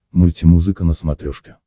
мультимузыка на смотрешке